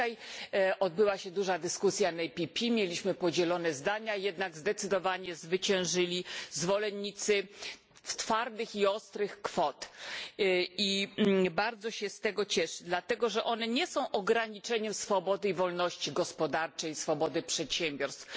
Dzisiaj odbyła się duża dyskusja na posiedzeniu PPE, mieliśmy podzielone zdania, jednak zdecydowanie zwyciężyli zwolennicy twardych i ostrych kwot i bardzo się z tego cieszę, dlatego że one nie są ograniczeniem swobody i wolności gospodarczej, swobody przedsiębiorstw.